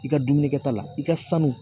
I ka dumuni kɛta la i ka sanu